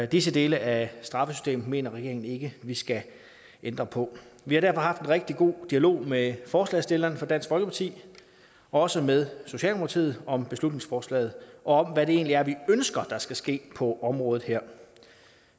disse dele af straffesystemet mener regeringen ikke at vi skal ændre på vi har derfor haft en rigtig god dialog med forslagsstillerne fra dansk folkeparti også med socialdemokratiet om beslutningsforslaget og om hvad det egentlig er vi ønsker der skal ske på området her